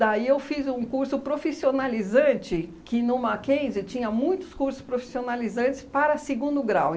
Daí, eu fiz um curso profissionalizante, que no Mackenzie tinha muitos cursos profissionalizantes para segundo grau.